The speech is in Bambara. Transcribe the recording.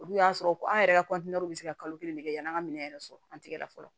Olu y'a sɔrɔ an yɛrɛ ka bɛ se ka kalo kelen de kɛ yanni an ka minɛn yɛrɛ sɔrɔ an tigɛ la fɔlɔ